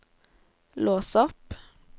lås opp